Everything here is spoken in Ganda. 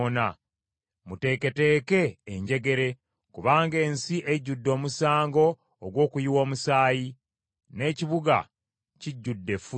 “ ‘Muteeketeeke enjegere kubanga ensi ejjudde omusango ogw’okuyiwa omusaayi, n’ekibuga kijjudde effujjo.